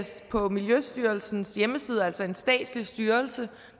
på miljøstyrelsens hjemmeside altså en statslig styrelse